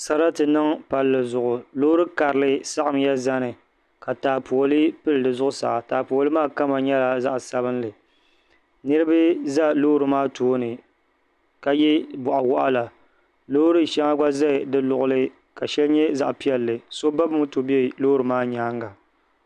Sarati n niŋ palli zuɣu loori karili saɣamya zani ka taapooli pili di zuɣusaa taapooli maa kama nyɛla zaɣ sabinli niraba ʒɛ loori maa tooni ka yɛ boɣa waɣala loori shɛŋa gba ʒɛla di luɣuli ka shɛli nyɛ zaɣ piɛlli so ba moto bɛ loori maa nyaanga